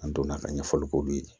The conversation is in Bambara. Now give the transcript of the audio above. An donna ka ɲɛfɔli k'olu ye